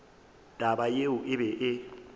taba yeo e be e